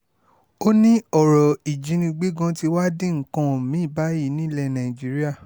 ó ní ọ̀rọ̀ ìjínigbé gan-an tí wàá di nǹkan mi-ín báyìí nílẹ̀ nàìjíríà